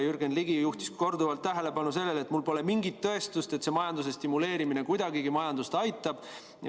Jürgen Ligi juhtis korduvalt tähelepanu sellele, et mul pole mingit tõestust, et see majanduse stimuleerimine kuidagigi majandust aitab.